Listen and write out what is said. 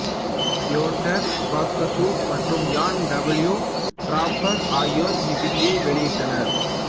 Theodore Grotius மற்றும் Jan W Draper ஆகியோர் இவ்விதியை வெளியிட்டனர்